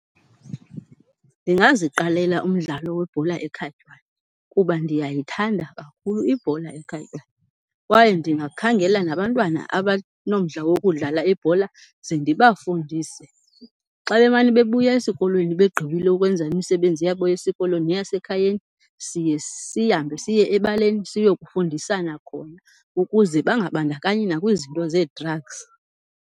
Ndingaziqalela umdlalo webhola ekhatywayo kuba ndiyayithanda kakhulu ibhola ekhatywayo. Kwaye ndingakhangela nabantwana abanomdla wokudlala ibhola ze ndibafundise. Xa bemane bebuya esikolweni begqibile ukwenza imisebenzi yabo yesikolo neyasekhayeni siye sihambe siye ebaleni siyokufundisana khona ukuze bangabandakanyi nakwizinto zee-drugs.